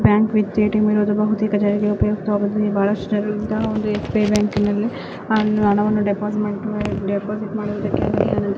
Bank with ATM ಇರುವುದು ಬಹುತೇಕ ಜನರಿಗೆ ಉಪಯುಕ್ತವಾಗುತ್ತದೆ. ಬಹಳಷ್ಟು ಜನರು ಇಂತಹ ಎಸ್_ಬಿ_ಐ ಬ್ಯಾಂಕಿನಲ್ಲಿ ಆ ಅಣವನ್ನು ಡೆಪಾಸಿಟ್ ಮಾಡಿ ಡೆಪಾಸಿಟ್ ಮಾಡುವುದಕ್ಕಾಗಿ ಅನಂತರ --